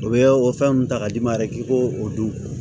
U bɛ o fɛn mun ta ka d'i ma yɛrɛ k'i b'o o dun